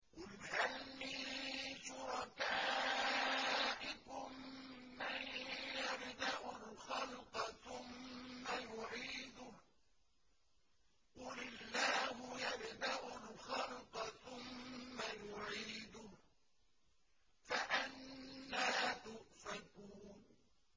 قُلْ هَلْ مِن شُرَكَائِكُم مَّن يَبْدَأُ الْخَلْقَ ثُمَّ يُعِيدُهُ ۚ قُلِ اللَّهُ يَبْدَأُ الْخَلْقَ ثُمَّ يُعِيدُهُ ۖ فَأَنَّىٰ تُؤْفَكُونَ